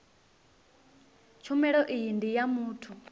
tshumelo iyi ndi ya muthu